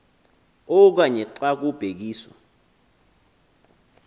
okanye xa kubhekiswa